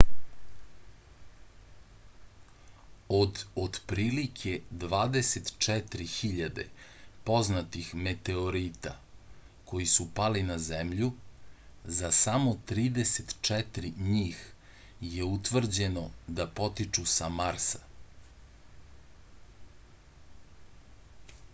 od otprilike 24.000 poznatih meteorita koji su pali na zemlju za samo 34 njih je utvrđeno da potiču sa marsa